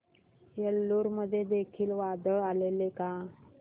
एलुरू मध्ये देखील वादळ आलेले का